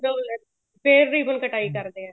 ਜਦੋਂ ਫੇਰ ribbon ਕਟਾਈ ਕਰਦੇ ਏ